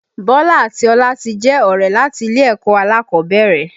Bọlá àti Ọlá ti jẹ́ ọ̀rẹ́ láti ilé ẹ̀kọ́ alákọ̀ọ́bẹ̀rẹ̀